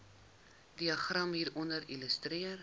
diagram hieronder illustreer